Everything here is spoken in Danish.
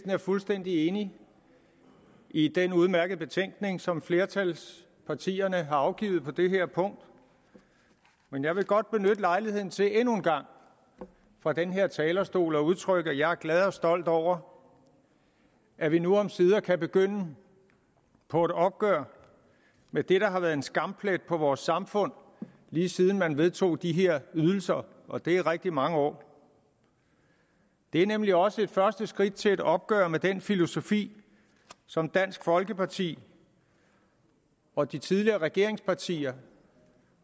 er fuldstændig enig i den udmærkede betænkning som et flertal af partierne har afgivet på det her punkt men jeg vil godt benytte lejligheden til endnu en gang fra den her talerstol at udtrykke at jeg er glad for og stolt over at vi nu omsider kan begynde på et opgør med det der har været en skamplet på vores samfund lige siden man vedtog de her ydelser og det er rigtig mange år det er nemlig også et første skridt til et opgør med den filosofi som dansk folkeparti og de tidligere regeringspartier